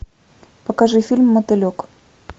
покажи фильм мотылек